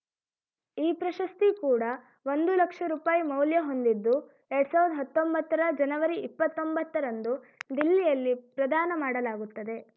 ಈ ಪ್ರಶಸ್ತಿ ಕೂಡ ಒಂದು ಲಕ್ಷ ರುಪಾಯಿ ಮೌಲ್ಯ ಹೊಂದಿದ್ದುಎರಡ್ ಸಾವಿರ್ದ ಹತ್ತೊಂಬತ್ತರ ಜನವರಿ ಇಪ್ಪತ್ತೊಂಬತ್ತ ರಂದು ದಿಲ್ಲಿಯಲ್ಲಿ ಪ್ರದಾನ ಮಾಡಲಾಗುತ್ತದೆ